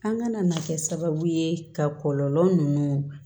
An kana na kɛ sababu ye ka kɔlɔlɔ nunnu